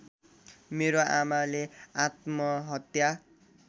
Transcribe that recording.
मेरो आमाले आत्महत्या